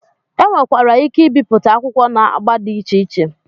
E nwekwara ike ibipụta akwụkwọ n'agba dị iche iche.